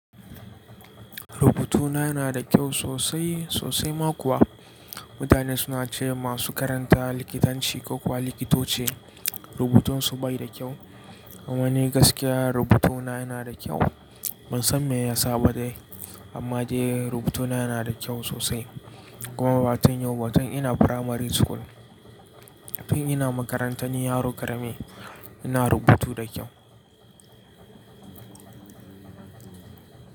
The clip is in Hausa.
Rubutuna yana da kyau sosai sosai ma kuwa. Mutane suna ce masu karanta likitanci ko kuwa likitoci rubutunsu bai da kyau. Amma ni gaskiya rubutuna yana da kyau. Ban san me ya sa ba dai, amma dai rubutuna yana da kyau sosai. Kuma ba tun yau ba, tun ina primary school. Tin ina makarantan yaro ƙarami ina rubutu da kyau.